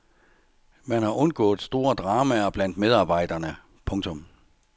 Man har undgået store dramaer blandt medarbejderne. punktum